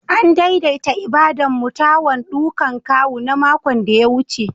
An daidaita ibada'n mutawan ɗukan kawu na makon da ya wuce.